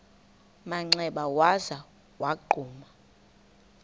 manxeba waza wagquma